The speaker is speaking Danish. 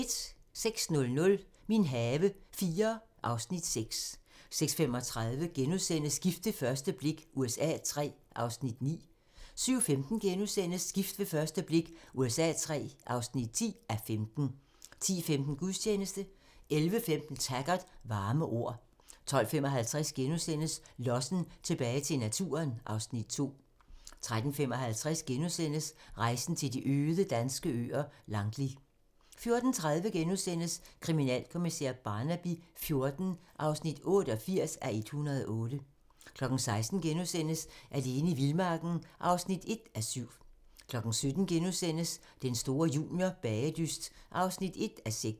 06:00: Min have IV (Afs. 6) 06:35: Gift ved første blik USA III (9:15)* 07:15: Gift ved første blik USA III (10:15)* 10:15: Gudstjeneste 11:15: Taggart: Varme ord 12:55: Lossen - tilbage til naturen (Afs. 2)* 13:55: Rejsen til de øde danske øer - Langli * 14:30: Kriminalkommissær Barnaby XIV (88:108)* 16:00: Alene i vildmarken (1:7)* 17:00: Den store juniorbagedyst (1:6)*